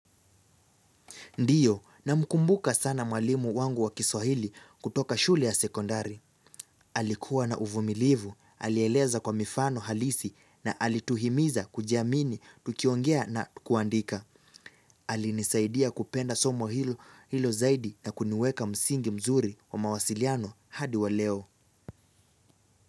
Ndiyo ninamkumbuka sana mwalimu wangu wa kiswahili kutoka shule ya sekondari. Alikuwa na uvumilivu, alieleza kwa mifano halisi na alituhimiza kujiamini tukiongea na kuandika. Alinisaidia kupenda somo hilo zaidi na kuniweka msingi mzuri wa mawasiliano hadi wa leo.